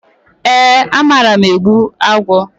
E, amara m egbu agwọ.